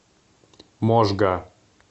можга